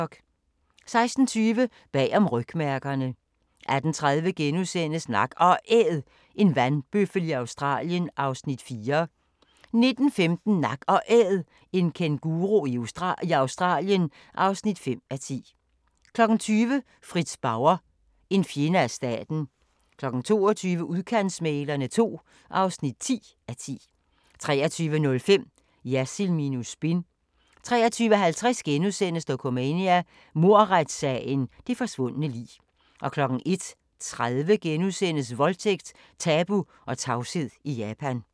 16:20: Bag om rygmærkerne 18:30: Nak & Æd – en vandbøffel i Australien (4:10)* 19:15: Nak & Æd – en kænguru i Australien (5:10) 20:00: Fritz Bauer: En fjende af staten 22:00: Udkantsmæglerne II (10:10) 23:05: Jersild minus spin 23:50: Dokumania: Mordretssagen – det forsvundne lig * 01:30: Voldtægt, tabu og tavshed i Japan *